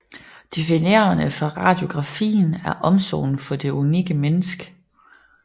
Definerende for radiografien er omsorgen for det unikke menneske